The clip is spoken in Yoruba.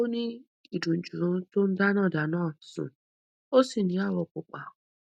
ó ní ìdunjú tó ń dáná dáná sun ó sì ní awọ pupa